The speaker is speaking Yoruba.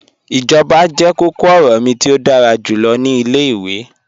Ijọba jẹ kọ̀kọ-ọrọ mi ti o dára julọ ni ilẹ̀-iwe.